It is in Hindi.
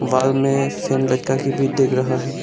बाल में सीन लटका के भी देख रहा है।